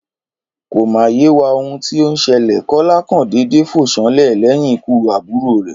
Kò mà yé wa ohun tí ó n selè, Kólá kàn dédé fò sánlè léyìn ikú àbùrò rè